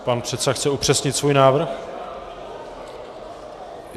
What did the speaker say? Pan předseda chce upřesnit svůj návrh?